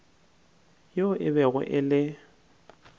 yoo e bego e le